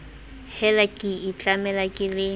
hela ke itlamela ke le